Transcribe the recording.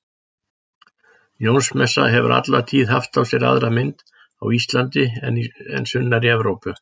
Jónsmessa hefur alla tíð haft á sér aðra mynd á Íslandi en sunnar í Evrópu.